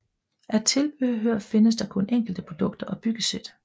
Af tilbehør findes der kun enkelte produkter og byggesæt